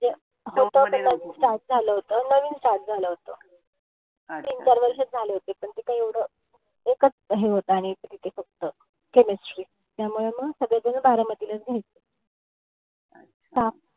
नवीन start झालं होत. नवीन start झालं होत. तीन- वर्षांचं झाले होते. पण ते काय एवढं. एकाच हे होत आणि तिथे फक्त chemistry. त्यामुळे मग सगळे जण बारामतीलाच घ्यायचे.